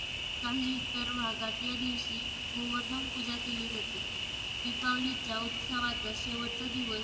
काही इतर भागात यादिवशी गोवर्धन पूजा केली जाते. दिपावलीच्या उत्सवाचा शेवटचा दिवस